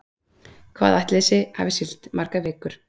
Hvað ætli þessi hafi siglt margar vikur?